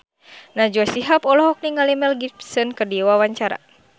Najwa Shihab olohok ningali Mel Gibson keur diwawancara